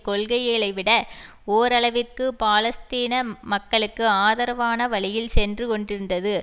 கொள்கைகளைவிட ஓரளவிற்கு பாலஸ்தீன மக்களுக்கு ஆதரவான வழியில் சென்று கொண்டிருந்தது